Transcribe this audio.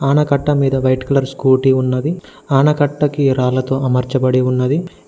ఆనకట్ట మీద white colour scooty ఉన్నది ఆనకట్ట కి రాళ్లతో అమర్చబడి ఉన్నది.